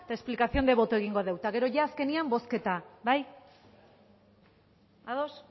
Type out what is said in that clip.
eta explicación de voto egingo dugu eta gero azkenean bozketa bai ados